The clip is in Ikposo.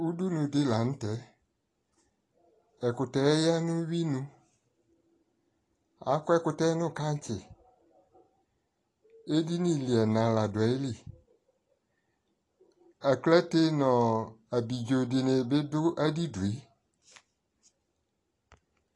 ʋdʋnʋ dilantɛ, ɛkʋtɛ yanʋ ʋwi nʋ, akɔ ɛkʋtɛ nʋ kankyi, ɛdini ni ɛna ladʋ ayili, aklatɛ nʋɔ abidzɔ dini bi dʋ adidʋɛ